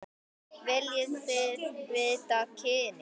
Viljiði vita kynið?